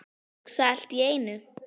Hugsa allt í einu.